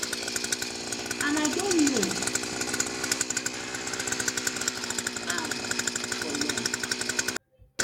and i don know am for long